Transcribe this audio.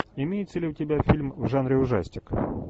имеется ли у тебя фильм в жанре ужастик